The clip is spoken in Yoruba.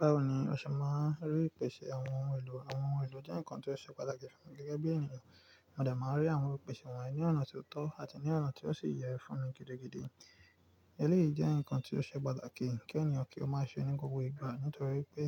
Báwo ni o ṣe máa ń rí ìpèsè àwọn ohun èlò? Àwọn ohun èlò jẹ́ nǹkan tó ṣe pàtàkì fún mi gẹ́gẹ́ bí ènìyàn. Mo de máa ń rí àwọn ìpèsè wọ̀nyí ní ọ̀nà tó tọ́ àti ní ọ̀nà tí ó sì yẹ fún mi gidi gidí. Èlé yii jẹ́ ǹkan tí ó ṣe pàtàkì kí ènìyàn kí ó máa ṣe ní gbogbo ìgbà nítorí pé